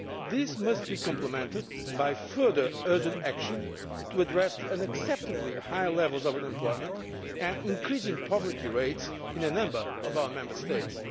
This must be complemented by further urgent action to address the unacceptably high levels of unemployment and increasing poverty rates in a number of our Member States.